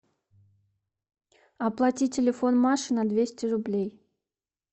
оплати телефон маши на двести рублей